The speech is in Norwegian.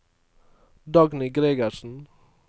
Dagny Gregersen